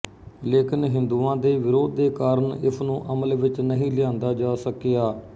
ਲੇਕਿਨ ਹਿੰਦੂਆਂ ਦੇ ਵਿਰੋਧ ਦੇ ਕਾਰਨ ਇਸਨੂੰ ਅਮਲ ਵਿੱਚ ਨਹੀਂ ਲਿਆਂਦਾ ਜਾ ਸਕਿਆ